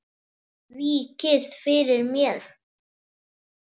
Víkið fyrir mér.